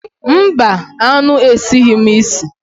Mba, aṅụ esighị m isi.